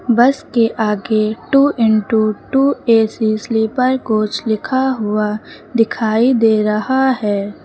बस के आगे two into two AC sleeper coach लिखा हुआ दिखाई दे रहा है।